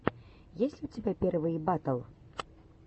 есть ли у тебя первые батл